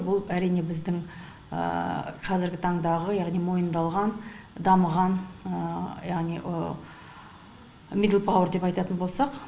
бұл әрине біздің қазіргі таңдағы яғни мойындалған дамыған яғни мидлпауер деп айтатын болсақ